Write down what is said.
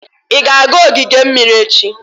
Ị ga-aga ogige mmiri echi?